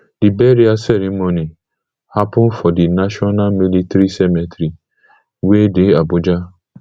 di burial ceremony happun for di national military cemetery wey dey abuja